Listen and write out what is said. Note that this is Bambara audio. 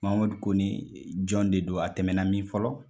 Mamadu kone jɔn de don a tɛmɛna min fɔlɔ ?